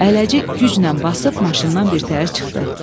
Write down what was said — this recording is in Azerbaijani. Əyləci güclə basıb maşından birtəhər çıxdı.